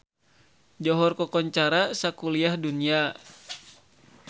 Johor kakoncara sakuliah dunya